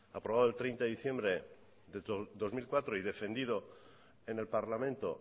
aprobado el treinta de diciembre del dos mil cuatro y defendido en el parlamento